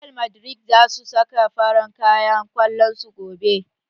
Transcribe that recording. Real madrid zasu saka farar kayan kwallon su gobe